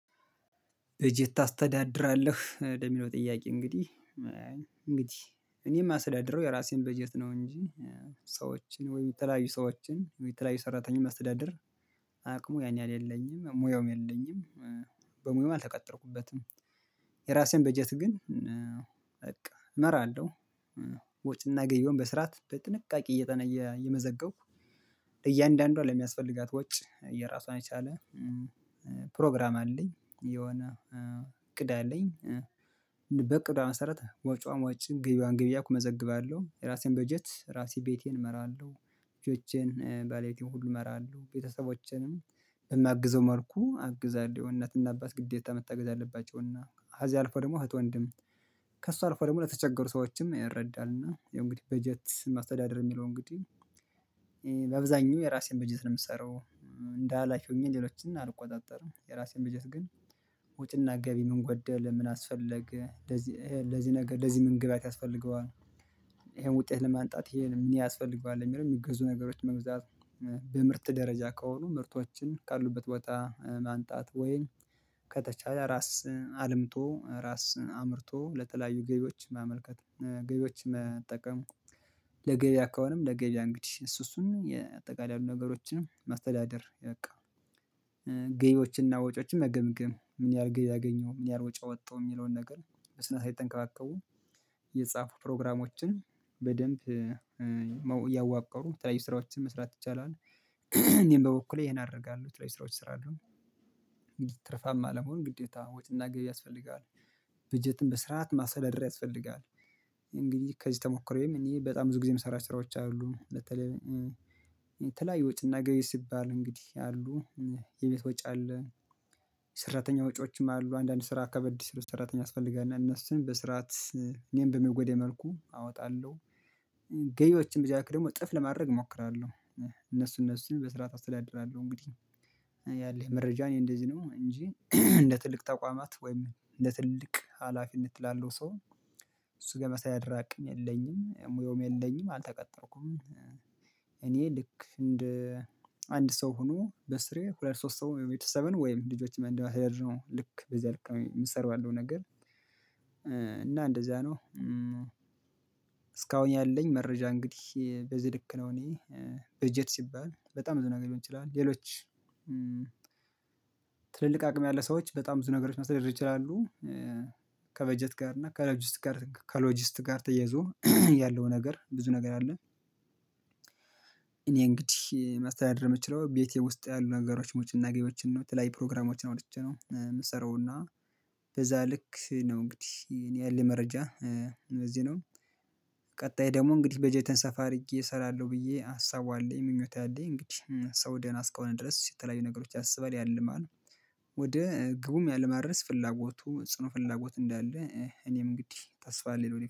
በጀት ታስተዳድራለህ ወደሚለው ጥያቄ? እንግዲህ እንግዲህ እኔ የማስደድረው የራሴን በጀት ነው። እንጂ ሰዎችን ወይ የተለያዩ ሰዎችን ወይ የተለያዩ ሰራተኛ ማስተዳደር። አቅሙ ያን ያህል የለኝም ሙያውም የለኝም። በሙያውም አልተቀጠርኩበትም። የራሴን በጀት ግን በቃ እመራለሁ። ወጪና ገብዬን በስራት በጥንቃቄ እየጠነየ እየመዘገብኩ እያንዳንዷ ለሚያስፈልጋት ወጭ የራሷን የቻለ ፕሮግራም አለኝ። የሆነ እቅድ አለኝ። በቅዷ መሰረት ወጭዋን ወጭ ገብዋን ገቢ መዘግባለሁ ራሴን በጀት ራሴ ቤቴን እመራለሁ። ልጆቼን ባለቤቴን ሁሉ እመራለሁ ቤተሰቦቼንም በሚያግዘው መልኩ አግዛለሁ። እናትና አባት ግዴታ መታገዝ አለባቸውና ከዚያ አልፎ ደግሞ እህት ወንድም ከእሱ አልፎ ደግሞ ለተቸገሩ ሰዎችም ይረዳል። እና ያው እንግዲህ በጀት ማስተዳደር የሚለው እንግዲህ በአብዛኛው የራሴን በጀት ነው የምትሰራው። እንደ ኃላፊ ሆኜ ሌሎችን አልቆጣጠርም። የራሴን በጀት ግን ውጭና ገቢ ምን ጎደለ ምን አስፈለገ ለዚህ ለዚህ ነገር ለዚህ ምን ግብአት ያስፈልገዋል። ይሄን ውጤት ለማንጣት ይሄን ምን ያስፈልገዋል የሚገዙ ነገሮች መግዛት። በምርት ደረጃ ከሆኑ ምርቶችን ካሉበት ቦታ ማምጣት ወይም ከተቻለ ራስን አልምቶ ራስን አምርቶ ለተለያዩ ገቢዎች መመልከት። ገቢዎች መጠቀም። ለገበያ ከሆነም ለገበያ አንግዲህ እሱ እሱን የአጠቃላይ ነገሮችንም ማስተዳደር በቃ። ገቢዎችና ወጪዎችን መገምገም ምን ያህል ገቢ አገኘው ምን ያህል ወጪ አወጣው የሚለውን ነገር በስነ ስርዓት እየተከባከቡ። የተጻፉ ፕሮግራሞችን በደንብ እያዋቀሩ የተለያዩ ስራዎችን መስራት ይቻላል። እኔም በበኩሌ ይሄን አደርጋለሁ የተለየዩ ስራዎች እሰራለሁ። አሉን ትርፋማ ለመሆን ግዴታ ወጭና ገቢ ያስፈልጋል። በጀትን በስርዓት ማስተዳደር ያስፈልጋል። እንግዲህ ከዚህ ተሞክሮዬም እኔ በጣም ብዙ ጊዜ የምሰራቸው ስራዎች አሉ በተለይ የተለያዩ ወጪና ገቢ ሲባል እንግዲህ አሉ። የቤት ወጪ አለ። ሰራተኛ ወጪዎችም አሉ አንዳንድ ስራ ከበድ ስል ሰራተኛ ያስፈልጋል እና እነሱን በስርዓት እኔም በመጎዴ መልኩ አወጣለሁ። ብዛት ደግሞ እጥፍ ለማድረግ እሞክራለሁ። እነሱ እነሱን በስርዓት አስተዳድራለሁ። እንግዲህ ያለኝ መረጃ እኔ እንደዚህ ነው እንጂ። እንደ ትልቅ ተቋማት ወይም እንደ ትልቅ ሀላፊነት ላለው ሰው እሱጋ የማስተዳደር አቅም የለኝም ሙያውም የለኝም። አልተቀጠርኩም እኔ ልክ እንደ አንድ ሰው ሆኖ በስሬ ሁለት ሶስት ሰው ወይም ቤተሰብን ወይም ልጆችን እንደ ማስተዳደር ነው ልክ በዚህ ልክ ነው የምትሰራው። ያለው ነገር እና እንደዛ ነው። እስካሁን ያለኝ መረጃ እንግዲህ በዚህ ልክ ነው። እኔ በጀት ሲባል በጣም ብዙ ነገር ሊሆን ይችላል። ሌሎች ትልልቅ አቅም ያለ ሰዎች በጣም ብዙ ነገሮች ማስተዳደር ይችላሉ። ከበጀት ጋር እና ከሎጂስት ጋር ከሎጂስት ጋር ተያይዞ ያለው ነገር ብዙ ነገር አለ። እኔ እንግዲህ ማስተዳደር ምችለው ቤቴ ውስጥ ያሉ ነገሮች ወጭና ገቢዎችን ነው የተለያዩ ፕሮግራሞችን አውጥቼ ነው የምሰራው። እና በዛ ልክ ነው እንግዲህ እኔ ያለኝ መረጃ። እንደዚህ ነው። ቀጣይ ደግሞ እንግዲህ በጀትቴን ሰፋ አድርጌ እሰራለሁ ብዬ ሀሳቡ አለኝ ምኞቴ አለኝ እንግዲህ ሰው ደህና እስከሆነ ድረስ የተለያዩ ነገሮች ያስባል ያልማል። ወደ ግቡም ለማድረስ ፍላጎቱ ጽኑ ፍላጎት እንዳለ እኔም እንግዲህ ተስፋ አለኝ ለደፊ